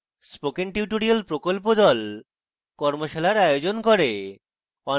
spoken tutorial প্রকল্প the কর্মশালার আয়োজন করে